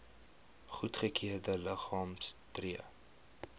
goedgekeurde liggame tree